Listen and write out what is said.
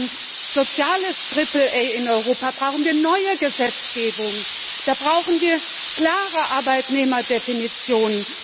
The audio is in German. Für ein soziales Triple A in Europa brauchen wir neue Gesetzgebung, da brauchen wir klare Arbeitnehmerdefinitionen.